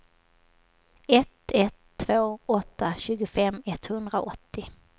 ett ett två åtta tjugofem etthundraåttio